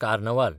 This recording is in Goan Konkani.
कार्नावाल